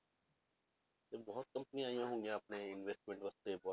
ਤੇ ਬਹੁਤ ਕੰਪਨੀਆਂ ਆਈਆਂ ਹੋਈਆਂ ਆਪਣੇ investment ਵਾਸਤੇ ਬਹੁਤ,